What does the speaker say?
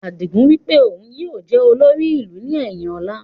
Adigun wípé òun yìí ó jẹ̀ olórí ìlú ni ẹyin ọ̀la